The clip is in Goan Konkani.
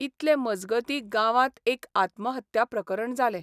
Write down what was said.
इतले मजगतीं गांवांत एक आत्महत्या प्रकरण जालें.